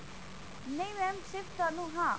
ਨਹੀਂ mam ਸਿਰਫ ਤੁਹਾਨੂੰ ਹਾਂ